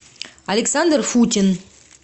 александр футин